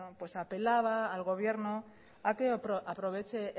apelaba al gobierno ha querido aprovechar